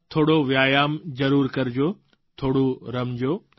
થોડો વ્યાયામ જરૂર કરજો થોડું રમજો